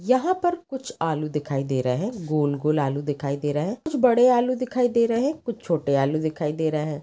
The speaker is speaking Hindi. यहा पर कुछ आलू दिखाई दे रहे गोल गोल आलू दिखाई दे रहे कुछ बड़े आलू दिखाई दे रहे कुछ छोटे आलू दिखाई दे रहे है।